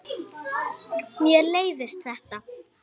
Mér leiðist þetta.